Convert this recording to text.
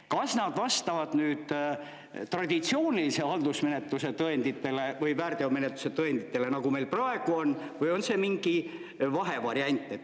Kas nad vastavad traditsioonilise haldusmenetluse tõenditele või väärteomenetluse tõenditele, nagu meil praegu on, või on see mingi vahevariant?